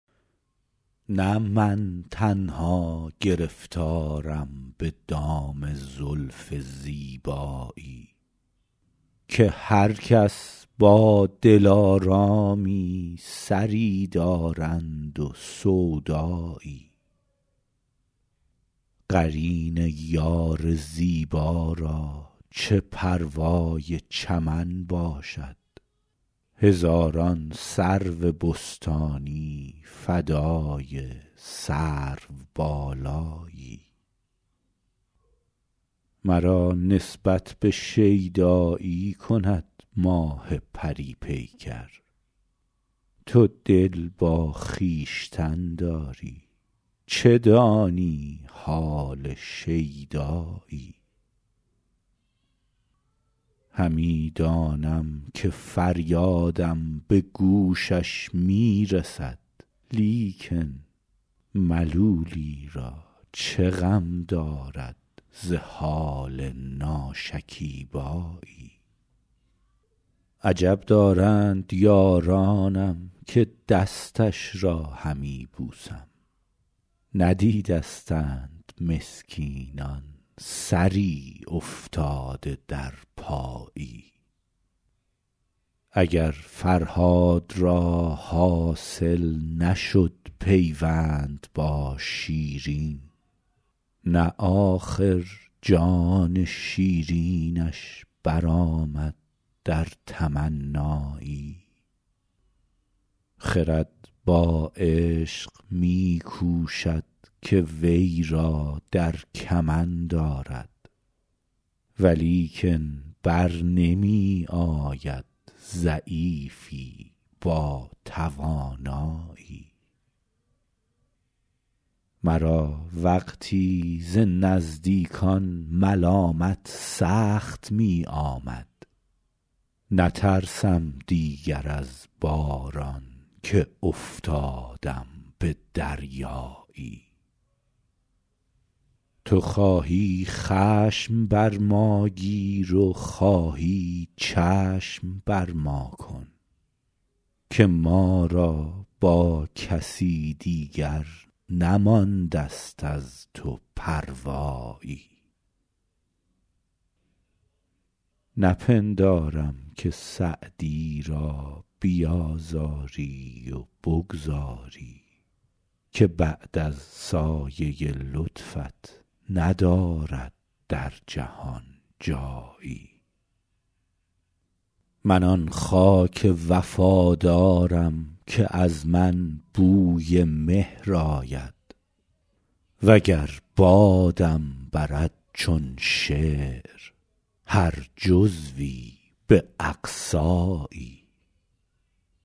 نه من تنها گرفتارم به دام زلف زیبایی که هر کس با دلآرامی سری دارند و سودایی قرین یار زیبا را چه پروای چمن باشد هزاران سرو بستانی فدای سروبالایی مرا نسبت به شیدایی کند ماه پری پیکر تو دل با خویشتن داری چه دانی حال شیدایی همی دانم که فریادم به گوشش می رسد لیکن ملولی را چه غم دارد ز حال ناشکیبایی عجب دارند یارانم که دستش را همی بوسم ندیدستند مسکینان سری افتاده در پایی اگر فرهاد را حاصل نشد پیوند با شیرین نه آخر جان شیرینش برآمد در تمنایی خرد با عشق می کوشد که وی را در کمند آرد ولیکن بر نمی آید ضعیفی با توانایی مرا وقتی ز نزدیکان ملامت سخت می آمد نترسم دیگر از باران که افتادم به دریایی تو خواهی خشم بر ما گیر و خواهی چشم بر ما کن که ما را با کسی دیگر نمانده ست از تو پروایی نپندارم که سعدی را بیآزاری و بگذاری که بعد از سایه لطفت ندارد در جهان جایی من آن خاک وفادارم که از من بوی مهر آید و گر بادم برد چون شعر هر جزوی به اقصایی